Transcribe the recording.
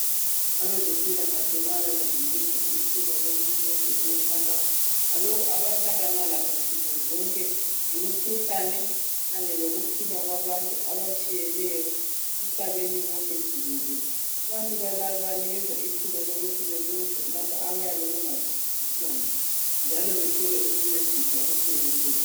Abezempilakahle bayazinikeza ithuba lokuthi benze imikhankaso ngalokho abahlangana lakho ngemikhuhlane kanye lokuphila kwabantu abatshiyeneyo emhlabeni wonke jikelele abantu laba babanikeza ithuba lokuthi bebuze laphoabayabe bengazwisisi khona njalo bethole ukuncediswa okupheleleyo.